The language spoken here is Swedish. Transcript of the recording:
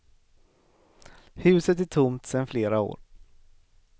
Huset är tomt sen flera år.